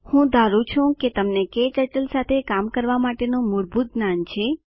હું ધારું છું કે તમને ક્ટર્ટલ સાથે કામ કરવા માટેનું મૂળભૂત જ્ઞાન છે